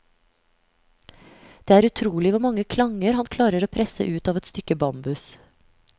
Det er utrolig hvor mange klanger han klarer å presse ut av et stykke bambus.